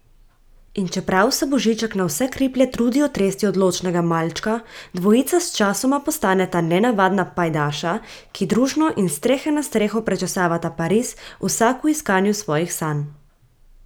In čeprav se Božiček na vse kriplje trudi otresti odločnega malčka, dvojica sčasoma postaneta nenavadna pajdaša, ki družno in s strehe na streho prečesavata Pariz, vsak v iskanju svojih sanj.